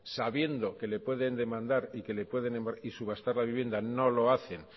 sabiendo que le pueden demandar y que le pueden subastar la vivienda no lo hacen